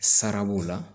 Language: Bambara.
Sara b'o la